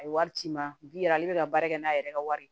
A ye wari ci n ma bi ale bɛ ka baara kɛ n'a yɛrɛ ka wari ye